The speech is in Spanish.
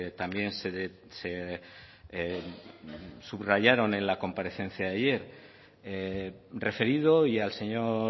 también se subrayaron en la comparecencia de ayer referido y al señor